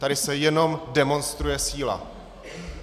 Tady se jenom demonstruje síla.